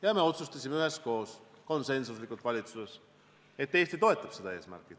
Ja me otsustasime valitsuses üheskoos, konsensuslikult, et Eesti toetab seda eesmärki.